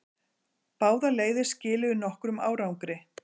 Báðar leiðir skiluðu nokkrum árangri.